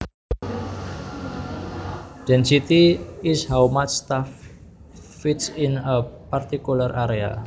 Density is how much stuff fits in a particular area